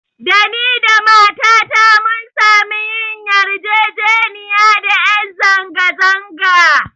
Da ni da matata mun samu yin yarjejeniya da ƴan zanga-zanga